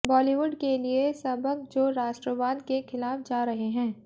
बॉलीवुड के लिए सबक जो राष्ट्रवाद के खिलाफ जा रहे हैं